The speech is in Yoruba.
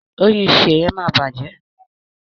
Oyún Seye má bàjé